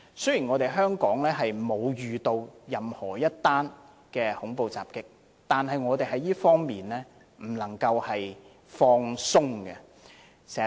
雖然香港沒有遇到任何的恐怖襲擊，但我們不能在這方面掉以輕心。